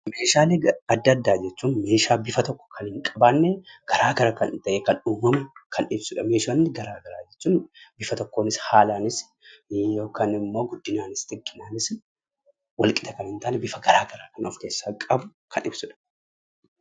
Meeshaalee adda addaa jechuun meeshaa bifa tokko kan hin qabaanne, garaa gara kan ta'e kan uumamu kan ibsudha. Meeshaan garaa gara jechuun bifa tokkoon yookaan immoo haalaanis guddinaanis xiqqinaanis walqixa kan hin taane bifa garaa garaa kan of keessaa qabu kan ibsudha.